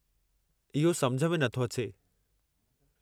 इहो समुझ में न थो अचे।